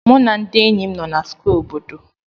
Mụ na ndị enyi m nọ na Square obodo.